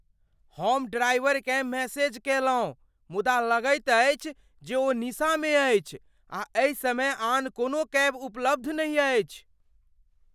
हम ड्राइवरकेँ मैसेज कयलहुँ मुदा लगैत अछि जे ओ निसामे अछि आ एहि समय आन कोनो कैब उपलब्ध नहि अछि।